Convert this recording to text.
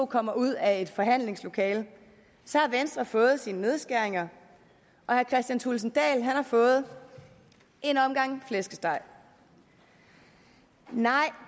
kommer ud af et forhandlingslokale har venstre fået sine nedskæringer og herre kristian thulesen dahl har fået en omgang flæskesteg nej